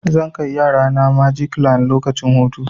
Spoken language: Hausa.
Zan kai yarana magic land lokacin hutu.